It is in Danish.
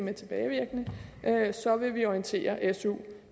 er tilbagevirkende vil vi orientere su